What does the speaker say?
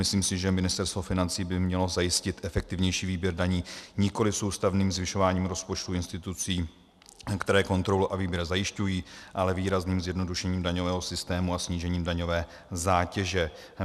Myslím si, že Ministerstvo financí by mělo zajistit efektivnější výběr daní nikoliv soustavným zvyšováním rozpočtu institucím, které kontrolu a výběr zajišťují, ale výrazným zjednodušením daňového systému a snížením daňové zátěže.